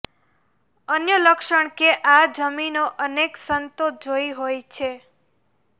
અન્ય લક્ષણ કે આ જમીનો અનેક સંતો જોઈ હોય છે